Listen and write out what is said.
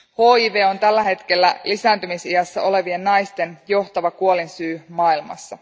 HIV on tällä hetkellä lisääntymisiässä olevien naisten johtava kuolinsyy maailmassa.